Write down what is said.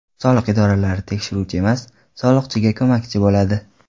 Soliq idoralari tekshiruvchi emas, soliqchiga ko‘makchi bo‘ladi.